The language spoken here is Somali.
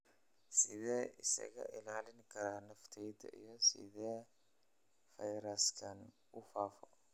Sideen iskaga ilaalin karaa naftayda iyo sidee fayraskani u faafo?